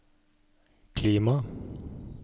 klima